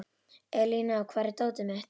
Elíná, hvar er dótið mitt?